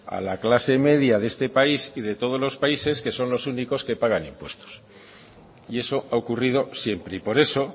a la clase de media de este país y de todos los países que son los únicos que pagan impuestos y eso ha ocurrido siempre y por eso